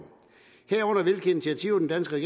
herunder hvilke initiativer den danske